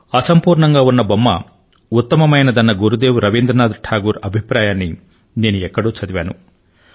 అసంపూర్ణంగా ఉన్న బొమ్మ ఉత్తమమైందన్న గురుదేవులు రవీంద్రనాథ్ టాగోర్ అభిప్రాయాన్ని నేను ఎక్కడో చదివాను